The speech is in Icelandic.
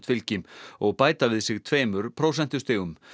fylgi og bæta við sig tveimur prósentustigum